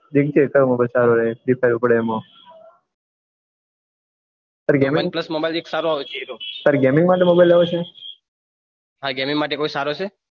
free fire ઉપડે તેમાં OnePlus mobile સારો આવશે તારે ગેમિંગ માટે mobile લેવો છે હા ગેમીગ માટે ખુબ સારો છે